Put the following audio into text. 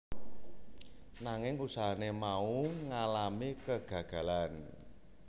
Nanging usahane mau ngalami kegagalan